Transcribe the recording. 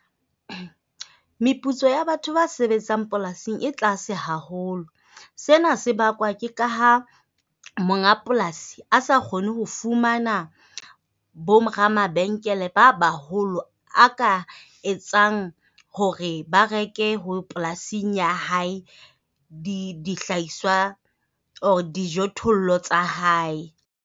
Meputso ya batho ba sebetsang polasing e tlase haholo. Sena se bakwa ke ka ha monga polasi a sa kgone ho fumana boramabenkele ba baholo a ka etsang hore ba reke ho polasing ya hae, di dihlahiswa dijothollo tsa hae.